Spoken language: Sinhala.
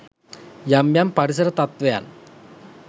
යම් යම් පරිසර තත්වයන්